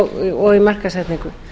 og í markaðssetningu